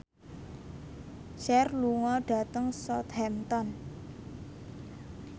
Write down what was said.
Cher lunga dhateng Southampton